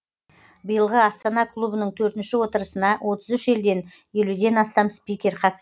биылғы астана клубының төртінші отырысына отыз үш елден елуден астам спикер қатыс